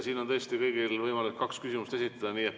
Siin on tõesti kõigil võimalik kaks küsimust esitada.